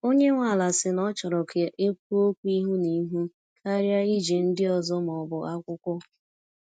Onye nwe ala si na ọ chọrọ ka ekwuo okwu ihu na ihu karịa iji ndị ọzọ ma ọ bụ akwụkwọ.